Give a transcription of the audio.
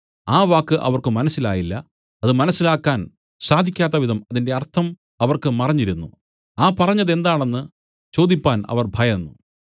ആ വാക്ക് അവർക്ക് മനസ്സിലായില്ല അത് മനസ്സിലാകാൻ സാധിക്കത്തവിധം അതിന്റെ അർത്ഥം അവർക്ക് മറഞ്ഞിരുന്നു ആ പറഞ്ഞത് എന്താണ് എന്നു ചോദിപ്പാൻ അവർ ഭയന്നു